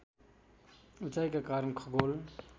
उचाइका कारण खगोल